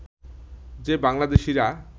যে বাংলাদেশিরা